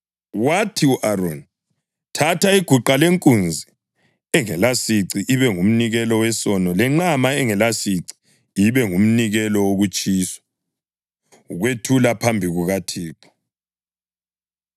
Wathi ku-Aroni, “Thatha iguqa lenkunzi engelasici ibe ngumnikelo wesono, lenqama engelasici ibe ngumnikelo wokutshiswa, ukwethule phambi kukaThixo.